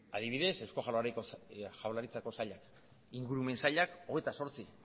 adibidez eusko jaurlaritzako sailak ingurumen sailak hogeita zortzi